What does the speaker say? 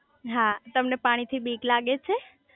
હા તમને પાણી થી બીક લાગે છે?